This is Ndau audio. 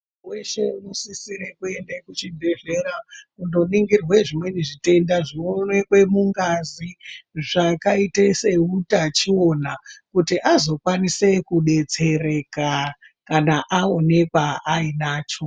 Weshe unosisire kuende kuzvibhehlera kundoningirwe zvimweni zvitenda zvinooneke mungazi zvakaita seutachiwona kuti azokwanise kudetsereka kana aonekwa ainacho